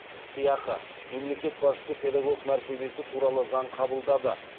сыйақы мемлекет басшысы педагог мәртебесі туралы заң қабылдады